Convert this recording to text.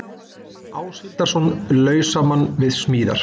Áshildarson, lausamann við smíðar.